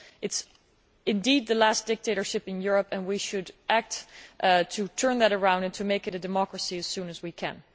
It is indeed the last dictatorship in Europe and we should act to turn that around and make it a democracy as soon as we can.